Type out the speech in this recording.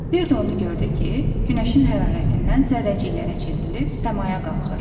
Bir də onu gördü ki, günəşin hərarətindən zərrəciklərə çevrilib səmaya qalxır.